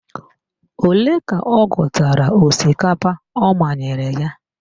Ole ka ọ gụtara osikapa ọ manyere ya?